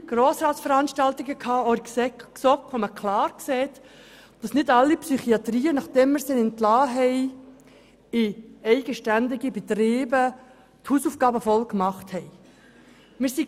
Verschiedene Veranstaltungen in der GSoK haben klar gezeigt, dass nicht alle Psychiatriebetriebe ihre Hausaufgaben richtig gemacht haben, nachdem sie als eigenständige Betriebe entlassen worden sind.